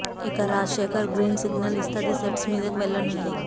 ఇక Rajasekhar green signal ఇస్తే అది సెట్స్ మీదకు వెళ్లనుంది